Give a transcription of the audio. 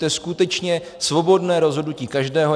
To je skutečně svobodné rozhodnutí každého.